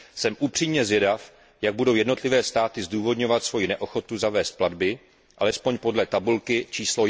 Jsem upřímně zvědav, jak budou jednotlivé státy zdůvodňovat svojí neochotu zavést platby, alespoň podle tabulky č.